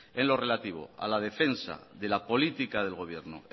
en lo relativo a la defensa de la política del gobierno